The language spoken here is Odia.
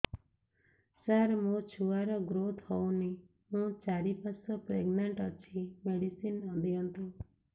ସାର ମୋର ଛୁଆ ର ଗ୍ରୋଥ ହଉନି ମୁ ଚାରି ମାସ ପ୍ରେଗନାଂଟ ଅଛି ମେଡିସିନ ଦିଅନ୍ତୁ